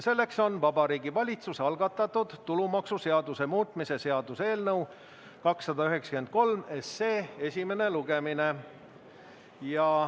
See on Vabariigi Valitsuse algatatud tulumaksuseaduse muutmise seaduse eelnõu 293 esimene lugemine.